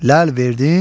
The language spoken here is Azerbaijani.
Ləl verdin,